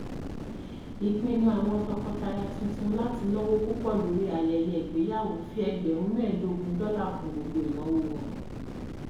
ìpinnu àwọn tọkọtaya tuntun láti náwó púpọ lórí ayẹyẹ ìgbéyàwó fi ẹgbẹrún mẹẹdọgún dọlà kún gbogbo ìnáwó wọn